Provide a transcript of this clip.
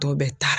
Tɔ bɛ taa